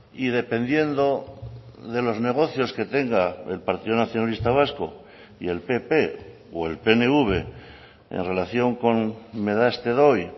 y dependiendo de los negocios que tenga el partido nacionalista vasco y el pp o el pnv en relación con me das te doy